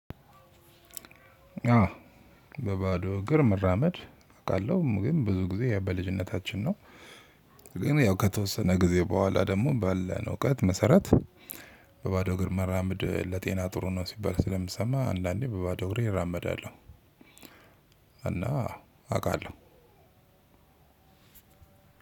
አዎ። በባዶ እግር መራመድ አውቃለሁ ግን ብዙ ጊዜ ያው በልጅነታችን ነው። ግን ያው ከተወሰነ ጊዜ በኋላ ደግሞ ባለን እውቀት መሰረት። በባዶ እግር መራመድ ለጤና ጥሩ ነው ሲባል ስለምሰማ አንዳንዴ በባዶ እግር እራመዳለሁ። እና አውቃለሁ።